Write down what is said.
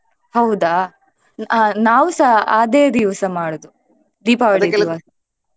ಹೌದಾ ಆ ನಾವುಸ ಅದೇ ದಿವ್ಸ ಮಾಡೋದು.